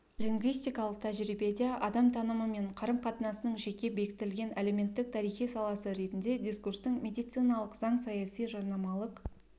лингвистикалық тәжірибеде адам танымы мен қарым-қатынасының жеке бекітілген әлеуметтік-тарихи саласы ретінде дискурстың медициналық заң саяси жарнамалық